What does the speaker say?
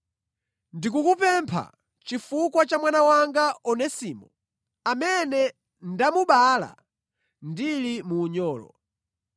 ndikukupempha chifukwa cha mwana wanga Onesimo, amene ndamubala ndili mu unyolo.